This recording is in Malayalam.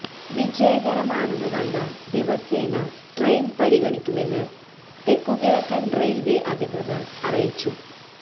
വിജയകരമാണെന്നു കണ്ടാൽ ദിവസേന ട്രെയിൻ പരിഗണിക്കുമെന്ന് തെക്കുകിഴക്കൻ റെയിൽവേ അധികൃതർ അറിയിച്ചു